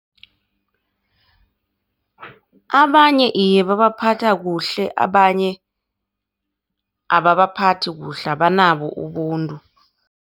Abanye, iye babaphatha kuhle abanye ababaphathi kuhle abanabo ubuntu.